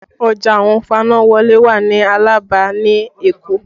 Ọjà àwọn fanáwọlé wà ní Alaba ní Èkó